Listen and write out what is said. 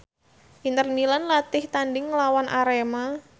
Inter Milan latih tandhing nglawan Arema